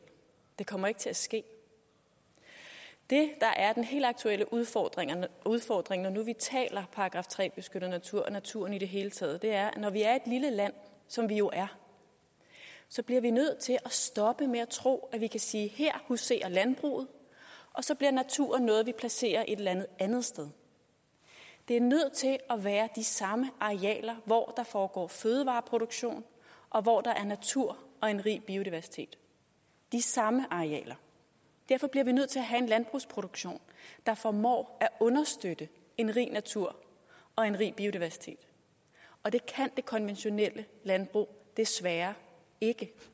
det kommer ikke til at ske det der er den helt aktuelle udfordring udfordring når nu vi taler § tre beskyttet natur og naturen i det hele taget er at når vi er et lille land som vi jo er så bliver vi nødt til at stoppe med at tro at vi kan sige at her huserer landbruget og så bliver naturen noget vi placerer et eller andet andet sted det er nødt til at være de samme arealer hvor der foregår fødevareproduktion og hvor der er natur og en rig biodiversitet de samme arealer derfor bliver vi nødt til at have en landbrugsproduktion der formår at understøtte en rig natur og en rig biodiversitet og det kan det konventionelle landbrug desværre ikke